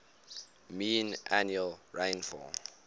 mean annual rainfall